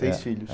Seis filhos. É é